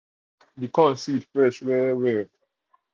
the corn the corn seed fresh well-well.